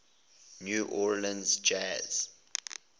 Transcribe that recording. new orleans jazz